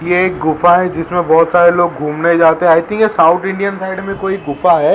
ये एक गुफा है जिसमें बहोत सारे लोग घूमने जाते हैं साउथ इंडियन साइड में कोई गुफा हैं।